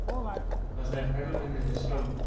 En hvað segja ferðamennirnir sjálfir?